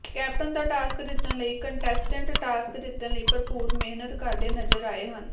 captain ਦਾ task ਜਿੱਤਣ ਲਈ ਕੰਟੇਸਟੰਟ ਟਾਸਕ ਜਿਤੱਣ ਲਈ ਭਰਪੂਰ ਮਿਹਨਤ ਕਰਦੇ ਨਜ਼ਰ ਆਏ ਹਨ